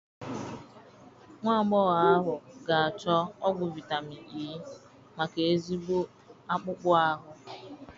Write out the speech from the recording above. Nwagbogho ahu ga achọ ọgwụ vitamin E maka ezigbo akpụkpọ ahụ